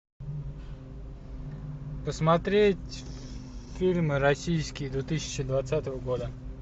посмотреть фильмы российские две тысячи двадцатого года